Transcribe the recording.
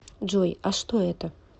джой а что это